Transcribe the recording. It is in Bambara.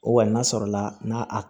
O kɔni n'a sɔrɔla n'a a